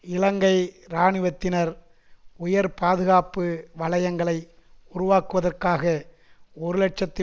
இலங்கை இராணுவத்தினர் உயர் பாதுகாப்பு வலையங்களை உருவாக்குவதற்காக ஒரு இலட்சத்தி